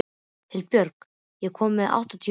Hildibjörg, ég kom með áttatíu húfur!